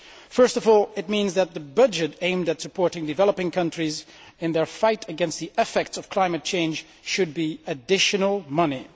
First of all, it means that the budget aimed at supporting developing countries in their fight against the effects of climate change should be additional money.